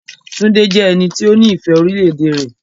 Túndé jẹ́ ẹni tó ní ìfẹ́ orílẹ̀-èdè rẹ.